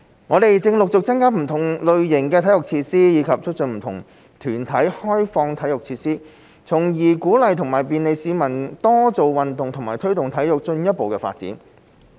我們正陸續增加不同類型的體育設施，以及促進不同團體開放體育設施，從而鼓勵和便利市民多做運動和推動體育進一步發展。